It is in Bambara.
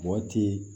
Mɔgɔ ti